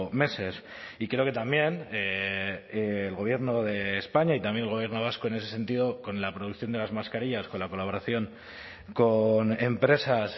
meses y creo que también el gobierno de españa y también el gobierno vasco en ese sentido con la producción de las mascarillas con la colaboración con empresas